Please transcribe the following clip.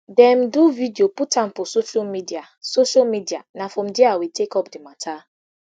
dem do video put am for social media social media na from dia we take up di mata